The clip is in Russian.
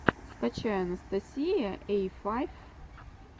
скачай анастасия эй файв